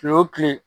Kile wo kile